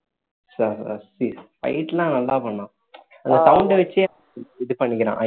ச~ சி~ fight லா நல்லா பண்ணினான் அந்த sound அ வச்சே இது பண்ணிக்கிறான்